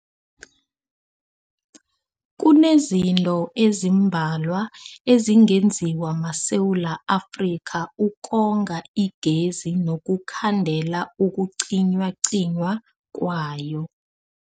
Kunezinto ezimbalwa ezingenziwa maSewula Afrika ukonga igezi nokukhandela ukucinywacinywa kwayo.